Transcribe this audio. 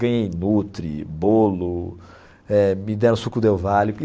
Ganhei, bolo, eh me deram suco Del Valle.